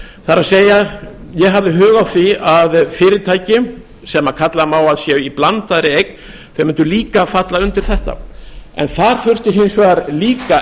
það er ég hafði hug á því að fyrirtæki sem kalla má að séu í blandaðri eign mundu líka falla undir þetta þar þurfti hins vegar líka